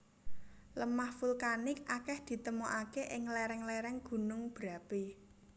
Lemah vulkanik akeh ditemokake ing lereng lereng gunung berapi